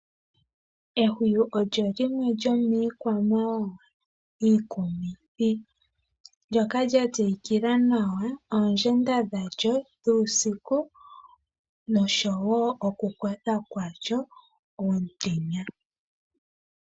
Ehwiyu olyo limwe lyomiikwamawawa iikumithi, ndyoka lya tseyikila nawa oondjenda dha lyo lyuusiku nosho woo oku kotha kwa lyo omutenya.